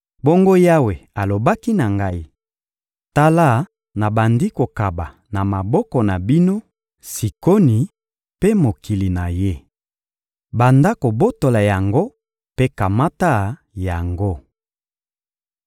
Bongo Yawe alobaki na ngai: «Tala, nabandi kokaba na maboko na bino Sikoni mpe mokili na ye. Banda kobotola yango mpe kamata yango.»